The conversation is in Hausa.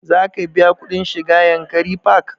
Za ka biya kuɗin shiga yankari park?